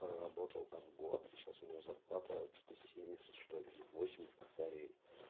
проработал там год и сейчас у него зарплата что-то семьдесят или что ли восемьдесят косарей